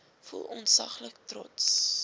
voel ontsaglik trots